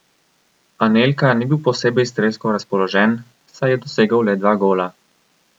Anelka ni bil posebej strelsko razpoložen, saj je dosegel le dva gola.